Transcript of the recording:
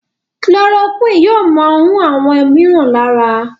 Chloroquine yóò món hùn àwọn míràn lára.